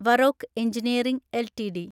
വറോക്ക് engineering LTD